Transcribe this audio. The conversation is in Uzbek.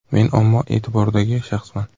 Men omma e’tiboridagi shaxsman.